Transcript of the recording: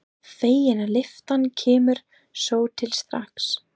Fegin að lyftan kemur svo til strax.